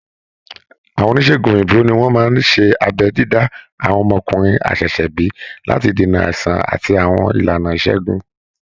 Àwọn oníṣègùn òyìnbó ni wọ́n máa ń ṣe abẹ́ dídá àwọn ọmọkùnrin àṣẹ̀ṣẹ̀bí láti dènà àìsàn àti àwọn ìlànà ìṣègùn